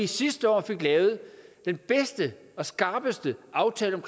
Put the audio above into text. sidste år lavet den bedste og skarpeste aftale om